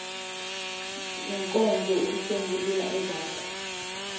yenkonzo ukusombulula ezakho